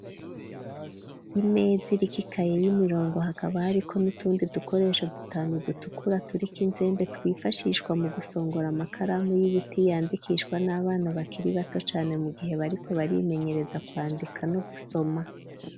Imeza iriko ikaye y'imirongo hakaba hariko n'utundi dukoresho dutanu dutukura turiko inzembe twifashishwa mu gusongora amakaramu y'ibiti yandikishwa n'abana bakiri bato cane mu gihe bariko barimenyereza kwandika no gusoma.